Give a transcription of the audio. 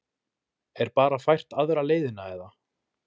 Er bara fært aðra leiðina eða?